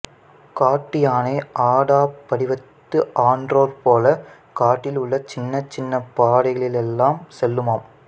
காட்டு யானை ஆடாப் படிவத்து ஆன்றோர் போல காட்டிலுள்ள சின்னச் சின்னப் பாதைகளிலெல்லாம் செல்லுமாம்